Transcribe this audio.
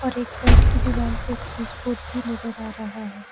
और एक साइड की दीवार पर एक स्विच बोर्ड भी नजर आ रहा है।